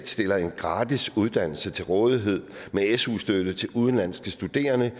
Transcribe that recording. stiller en gratis uddannelse til rådighed med su støtte til udenlandske studerende